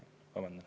Vabandan.